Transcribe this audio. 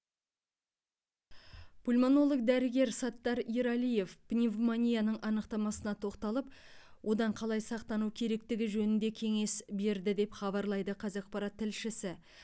пульмонолог дәрігер саттар ералиев пневмонияның анықтамасына тоқталып одан қалай сақтану керектігі жөнінде кеңес берді деп хабарлайды қазақпарат тілшісі